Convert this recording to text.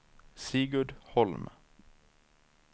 Sigurd Holm